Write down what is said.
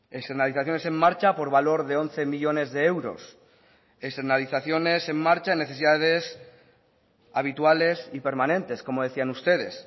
externalizaciones en marcha por valor de once millónes de euros externalizaciones en marcha en necesidades habituales y permanentes como decían ustedes